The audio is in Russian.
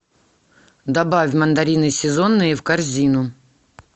добавь мандарины сезонные в корзину